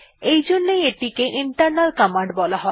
এইজন্যই এটিকে internal command বলা হয়